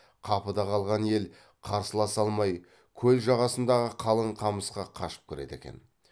қапыда қалған ел қарсыласа алмай көл жағасындағы қалың қамысқа қашып кіреді екен